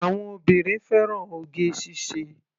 Àwọn obìnrin fẹ́ràn oge ṣíṣe.